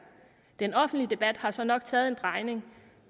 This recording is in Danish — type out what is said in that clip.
den offentlige debat har så nok taget en drejning